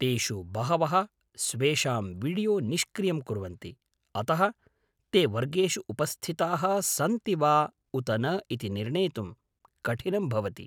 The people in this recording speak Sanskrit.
तेषु बहवः स्वेषां वीडियो निष्क्रियं कुर्वन्ति, अतः ते वर्गेषु उपस्थिताः सन्ति वा उत न इति निर्णेतुं कठिनं भवति।